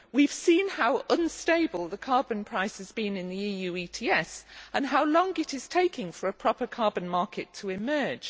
We have seen how unstable the carbon price has been in the EU ETS and how long it is taking for a proper carbon market to emerge.